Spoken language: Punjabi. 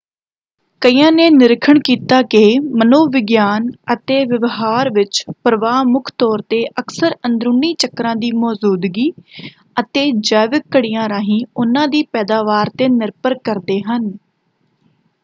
ਕਈਆਂ ਨੇ ਨਿਰੀਖਣ ਕੀਤਾ ਕਿ ਮਨੋ ਵਿਗਿਆਨ ਅਤੇ ਵਿਵਹਾਰ ਵਿੱਚ ਪ੍ਰਵਾਹ ਮੁੱਖ ਤੌਰ 'ਤੇ ਅਕਸਰ ਅੰਦਰੂਨੀ ਚੱਕਰਾਂ ਦੀ ਮੌਜੂਦਗੀ ਅਤੇ ਜੈਵਿਕ ਘੜੀਆਂ ਰਾਹੀਂ ਉਹਨਾਂ ਦੀ ਪੈਦਾਵਾਰ 'ਤੇ ਨਿਰਭਰ ਕਰਦੇ ਹਨ।